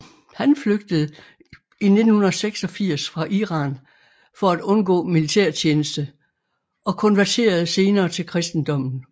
Han flygtede i 1986 fra Iran for at undgå militærtjeneste og konverterede senere til kristendommen